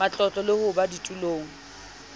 matlotlo le ho ba ditulong